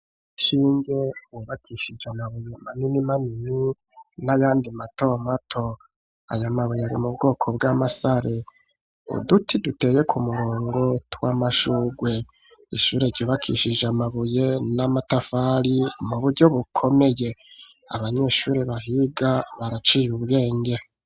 Ishure wubakishije amabuye manini manini n'ayandi mato mato aya mabuye ari mu bwoko bw'amasare ,uduti duteye ku murongo tw'amashugwe, ishure ryubakishije amabuye n'amatafari mu buryo bukomeye ,abanyeshuri bahiga baraciye ubwenge.